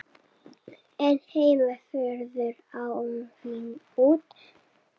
en heima fjöruðu áhrifin út.